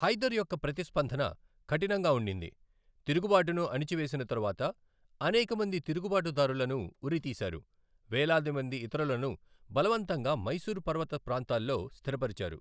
హైదర్ యొక్క ప్రతిస్పందన కఠినంగా ఉండింది, తిరుగుబాటును అణచివేసిన తరువాత, అనేక మంది తిరుగుబాటుదారులను ఉరితీశారు, వేలాది మంది ఇతరులను బలవంతంగా మైసూర్ పర్వత ప్రాంతాల్లో స్థిరపరిచారు.